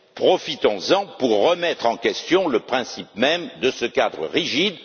Profitons en pour remettre en question le principe même de ce cadre rigide.